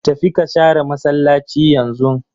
Tafi ka share massalaci yanzun!